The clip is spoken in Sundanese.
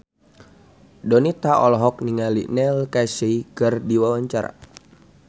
Donita olohok ningali Neil Casey keur diwawancara